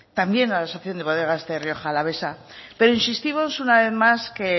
también a la asociación de bodegas de rioja alavesa pero insistimos una vez más que